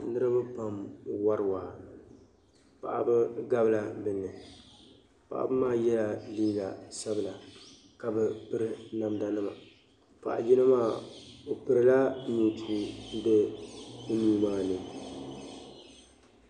Niriba pam n-wari waa paɣaba gabi la be ni paɣaba maa yela liiga sabila ka be piri namdanima paɣa yino maa o pirila nintua be o nuu maa ni.